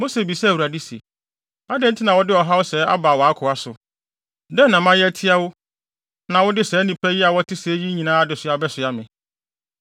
Mose bisaa Awurade se, “Adɛn nti na wode ɔhaw sɛɛ aba wʼakoa so? Dɛn na mayɛ atia wo a na wode saa nnipa a wɔte sɛɛ yi nyinaa adesoa abɛsoa me?